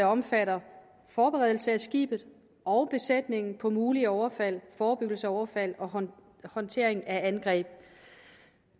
omfatter forberedelse af skibet og besætningen på mulige overfald forebyggelse af overfald og håndtering af angreb